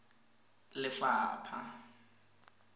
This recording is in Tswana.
lefapha